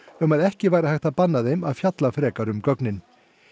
um að ekki væri hægt að banna þeim að fjalla frekar um gögnin